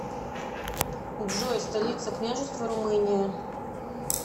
джой столица княжество румыния